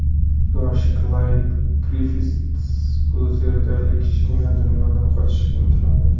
Yosh Klayd Griffits bu zerikarli kichkina dunyodan qochishga intiladi.